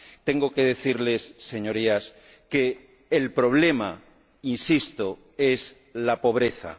Tengo que decirles, señorías, que el problema, insisto, es la pobreza.